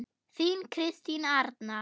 Þín Kristín Arna.